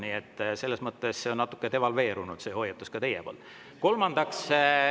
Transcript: Nii et selles mõttes on see teie hoiatus natuke devalveerunud.